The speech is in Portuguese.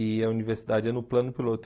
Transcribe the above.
E a universidade é no plano piloto.